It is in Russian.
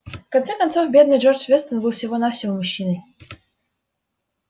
в конце концов бедный джордж вестон был всего-навсего мужчиной